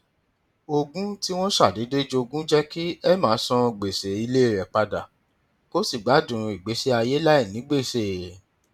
ogún tí wọn ṣàdédé jogún jẹ kí emma san gbèsè ilé rẹ padà kó sì gbádùn ìgbésí ayé láìní gbèsè